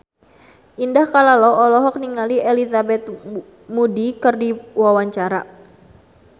Indah Kalalo olohok ningali Elizabeth Moody keur diwawancara